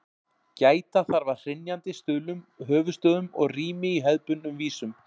Gæta þarf að hrynjandi, stuðlum, höfuðstöfum og rími í hefðbundnum vísum.